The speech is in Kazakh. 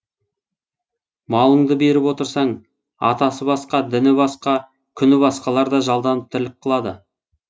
малыңды беріп отырсаң атасы басқа діні басқа күні басқалар да жалданып тірлік қылады